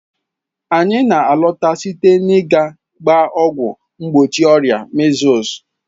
Anyị na-alọta site n'ịga gbaa ọgwụ mgbochi ọrịa measles.